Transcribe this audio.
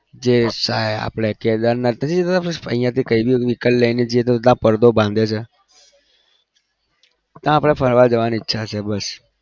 જે ઈચ્છા હે આપણે કેદારનાથ નહિ જતા અહીંયાથી કઈં બી vehicle લઇ ને જઈએ તો ત્યાં પડદો બાંધ્યો છે આપણે ફરવા જવાની ઈચ્છા છે બસ.